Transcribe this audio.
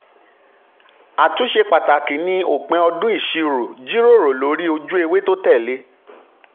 àtúnṣe um pàtàkì ni òpin ọdún ìṣirò jíròrò um lórí ojúewé tó tẹ̀ lé. um